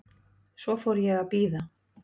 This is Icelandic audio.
Svo fór ég að bíða.